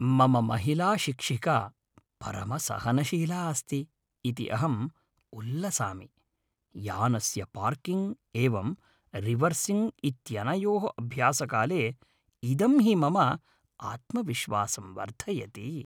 मम महिलाशिक्षिका परमसहनशीला अस्ति इति अहं उल्लसामि; यानस्य पार्किङ्ग् एवं रिवर्सिङ्ग् इत्यनयोः अभ्यासकाले इदं हि मम आत्मविश्वासं वर्धयति।